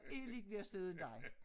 Er lidt mere sød end dig